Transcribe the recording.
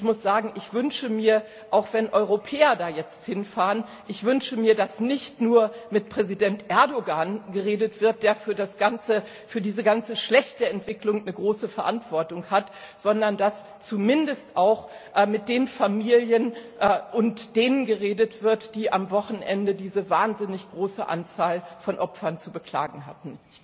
Und ich wünsche mir, auch wenn Europäer da jetzt hinfahren, dass nicht nur mit Präsident Erdogan geredet wird, der für das Ganze, für diese ganze schlechte Entwicklung eine große Verantwortung hat, sondern dass zumindest auch mit den Familien und denen geredet wird, die am Wochenende diese wahnsinnig große Anzahl von Opfern zu beklagen hatten.